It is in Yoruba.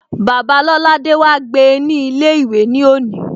Bàbáa Lolade wá gbe ní ilé ìwé ní òní